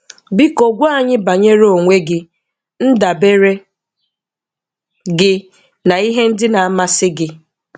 Biko gwa anyị banyere onwe gị, ndabere gi na ihe ndi na amasi gi.